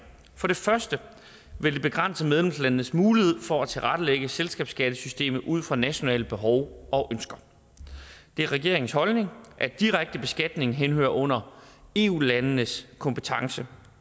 for det første vil det begrænse medlemslandenes mulighed for at tilrettelægge selskabsskattesystemet ud fra nationale behov og ønsker det er regeringens holdning at direkte beskatning henhører under eu landenes kompetence